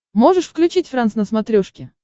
можешь включить франс на смотрешке